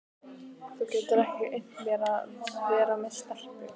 Þú getur ekki unnt mér að vera með stelpu.